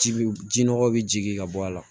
Ji bi ji nɔkɔ bi jigin ka bɔ a la